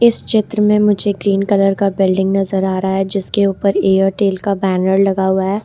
इस चित्र में मुझे ग्रीन कलर का बिल्डिंग नजर आ रहा है जिसके ऊपर एयरटेल का बैनर लगा हुआ है ।